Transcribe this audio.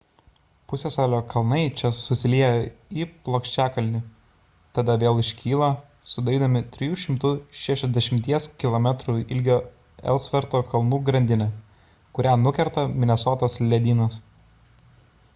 pusiasalio kalnai čia susilieja į plokščiakalnį tada vėl iškyla sudarydami 360 km ilgio elsverto kalnų grandinę kurią nukerta minesotos ledynas